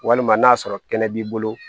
Walima n'a sɔrɔ kɛnɛ b'i bolo